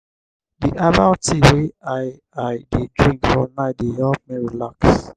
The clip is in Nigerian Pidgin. di herbal tea wey i i dey drink for night dey help me relax.